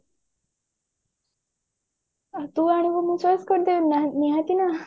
ତୁ ଆଣିବୁ ମୁଁ choice କରିଦେବିନି ନିହାତି ନା